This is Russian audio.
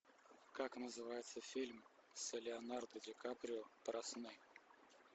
как называется фильм с леонардо ди каприо про сны